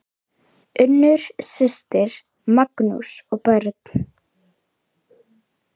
Unnur systir, Magnús og börn.